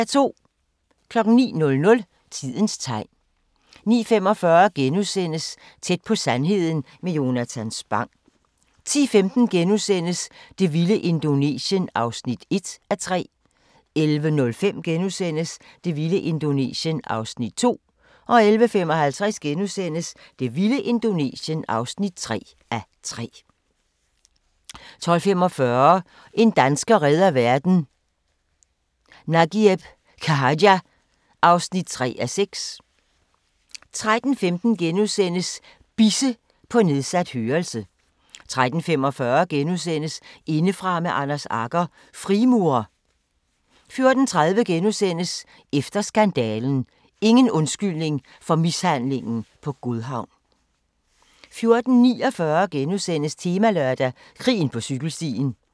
09:00: Tidens tegn 09:45: Tæt på sandheden med Jonatan Spang * 10:15: Det vilde Indonesien (1:3)* 11:05: Det vilde Indonesien (2:3)* 11:55: Det vilde Indonesien (3:3)* 12:45: En dansker redder verden - Nagieb Khaja (3:6) 13:15: Bisse – på nedsat hørelse * 13:45: Indefra med Anders Agger – Frimurer * 14:30: Efter skandalen – Ingen undskyldning for mishandlingen på Godhavn * 14:49: Temalørdag: Krigen på cykelstien *